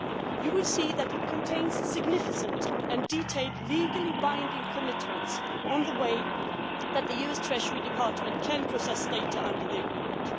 You will see that it contains significant and detailed legally binding commitments on the way that the US Treasury Department can process data under the agreement.